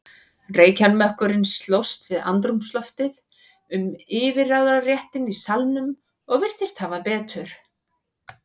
Reykjarmökkurinn slóst við andrúmsloftið um yfirráðaréttinn í salnum og virtist hafa betur.